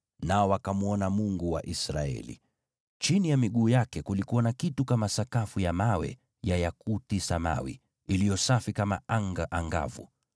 nao wakamwona Mungu wa Israeli. Chini ya miguu yake kulikuwa na kitu kama sakafu ya mawe ya yakuti samawi, iliyo safi kama anga angavu.